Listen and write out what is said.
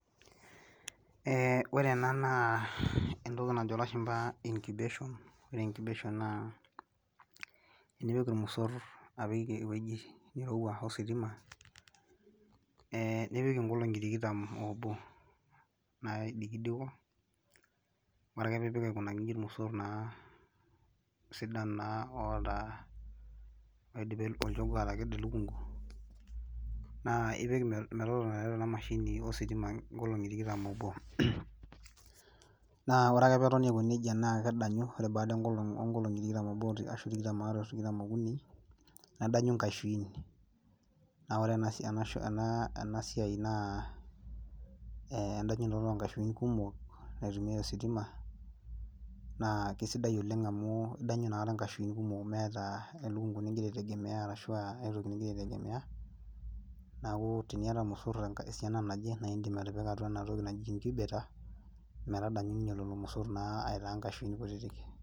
Ore ena naa entoki najo ilashumba incubation Ore incubation naa enipik ilmosor ewueji nirowua ositima nipik ingolongi tikitam obo naidikidiko, orake piipik aikunaki inji naa ilmosor sidan naa onoshi kata naa oidipa atakedo olchogoo elukungu naa ipik metotona tiatua ena mashini inkolongi tikitam obo Orake peetoni aiko neija naa kedanyu baada onkolongi tikitam aare ashu tikitam okuni nedanyu inkaishuin Naa ore ena siai naa endanyunoto oonkaishuin kumok naitumiay ositima naa kesidai oleng amu idanyu inkaishuin kumok meeta elukungu nigira aitegemea ashu aitoki nigira aitegemea niaku teniata ilmosor tengaji esiana naje naa in'dim atipika ena toki metadanyu ninye lelo mosor naa aitaa nkashuin kutitik